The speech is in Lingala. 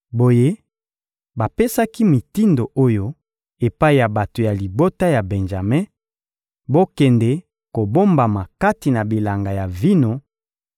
Boye bapesaki mitindo oyo epai ya bato ya libota ya Benjame: «Bokende kobombama kati na bilanga ya vino